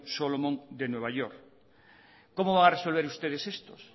solomon de nueva york cómo va a resolver ustedes estos